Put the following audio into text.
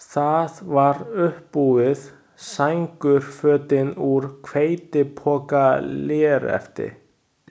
Það var uppbúið, sængurfötin úr hveitipokalérefti.